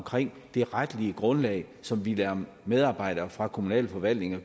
det retlige grundlag som vi lader medarbejdere fra kommunalforvaltningen